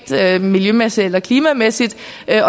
miljømæssigt eller klimamæssigt